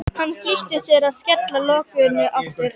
Hann flýtir sér að skella lokinu aftur.